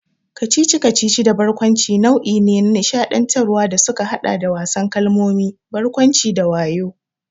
Kacici-kacici da barkwanci nau'i ne na nishaɗantarwa da suka haɗa da wasan kalmomi, barkwanci, da wayo.